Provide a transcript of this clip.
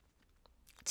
TV 2